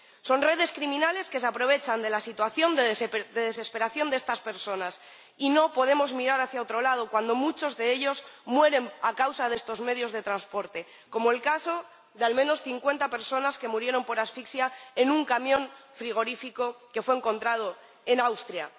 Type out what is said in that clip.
Son redes criminales que se aprovechan de la situación de desesperación de estas personas, y no podemos mirar hacia otro lado cuando muchas de ellas mueren a causa de estos medios de transporte, como fue el caso de al menos cincuenta personas que murieron por asfixia en un camión frigorífico que fue encontrado en Austria.